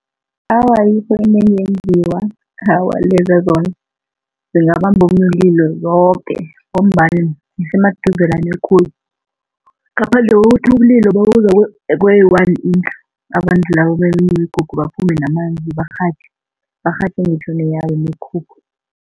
Awa, ayikho enye engenziwa. Awa leza zona zingabamba umlilo zoke ngombana zisemaduzelana khulu ngaphandle kokuthi umlilo nawuza kweyi-one indlu, abantu labo beminye imikhukhu baphume namanzi barhatjhe. Barhatjhe ngitjho neyabo imikhukhu.